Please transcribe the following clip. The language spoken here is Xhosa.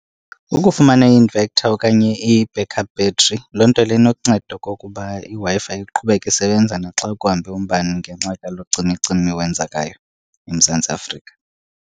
Ukufumana i-inverter okanye i-back up battery loo nto leyo inokunceda okokuba iWi-Fi iqhubeke isebenza naxa kuhambe umbane ngenxa kalo cimi-cimi wenzekayo eMzantsi Afrika.